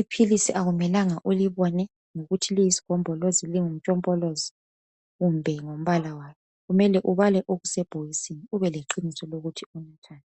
Iphilisi akumelanga ukuthi ulibone uthi liyisigombolozi kumbe lingumntshompolozi kumbe ngombala walo. Kumele ubale okusebhokisini ukuze ube leqiniso ukuthi kumi njani